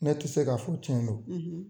Ne ti se ka fɔ tiɲɛ don